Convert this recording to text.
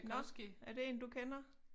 Nåh er det en du kender?